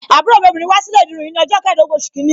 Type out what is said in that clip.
Àbúrò mi obìnrin wá sí ilé ìdirun yìí ni ọjọ́ keedogun oṣù kìíní.